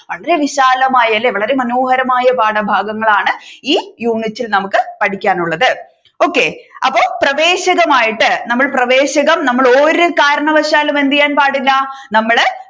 വളരെ വിശാലമായി അല്ലെ വളരെ മനോഹരമായ പാഠഭാഗങ്ങളാണ് ഈ യൂണിറ്റിൽ നമുക്ക് പഠിക്കാനുള്ളത് okay അപ്പൊ പ്രവേശകമായിട്ട് നമ്മൾ പ്രവേശകം നമ്മൾ ഒരു കാരണവശാലും എന്ത് ചെയ്യാൻ പാടില്ല നമ്മൾ